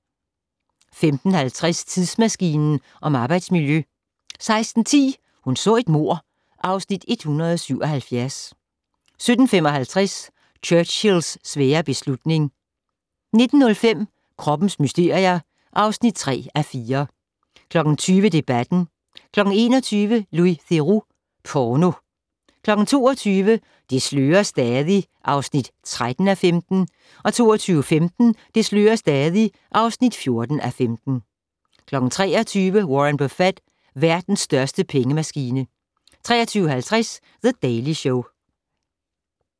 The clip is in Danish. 15:50: Tidsmaskinen om arbejdsmiljø 16:10: Hun så et mord (Afs. 177) 17:55: Churchills svære beslutning 19:05: Kroppens mysterier (3:4) 20:00: Debatten 21:00: Louis Theroux - Porno 22:00: Det slører stadig (13:15) 22:15: Det slører stadig (14:15) 23:00: Warren Buffett - verden største pengemaskine 23:50: The Daily Show